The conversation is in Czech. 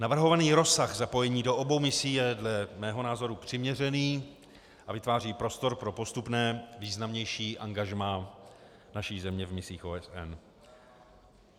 Navrhovaný rozsah zapojení do obou misí je dle mého názoru přiměřený a vytváří prostor pro postupné významnější angažmá naší země v misích OSN.